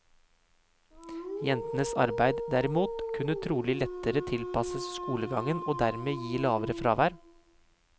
Jentenes arbeid, derimot, kunne trolig lettere tilpasses skolegangen, og dermed gi lavere fravær.